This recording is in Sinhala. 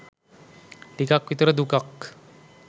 ටිකක් විතර දුකක්.